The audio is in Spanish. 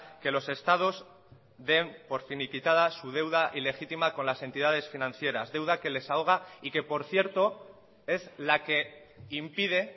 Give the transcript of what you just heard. que los estados den por finiquitada su deuda ilegítima con las entidades financieras deuda que les ahoga y que por cierto es la que impide